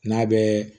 N'a bɛɛ